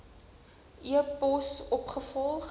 e pos opgevolg